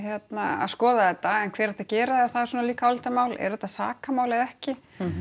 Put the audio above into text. að skoða þetta en hver ætti að gera það er svona líka álitamál er þetta sakamál eða ekki